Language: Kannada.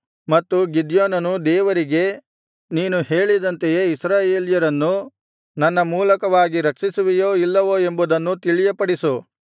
ಮತ್ತು ಗಿದ್ಯೋನನು ದೇವರಿಗೆ ನೀನು ಹೇಳಿದಂತೆ ಇಸ್ರಾಯೇಲ್ಯರನ್ನು ನನ್ನ ಮೂಲಕವಾಗಿ ರಕ್ಷಿಸುವಿಯೋ ಇಲ್ಲವೋ ಎಂಬುದನ್ನು ತಿಳಿಯಪಡಿಸು